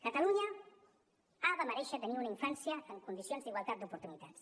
catalunya ha de merèixer tenir una infància amb condicions d’igualtat d’oportunitats